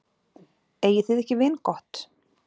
Eigið þið ekki vingott?